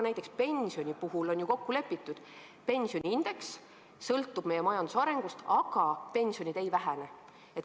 Näiteks on pensioni puhul ju kokku lepitud, et pensioniindeks sõltub meie majanduse arengust, aga pensionid ei vähene.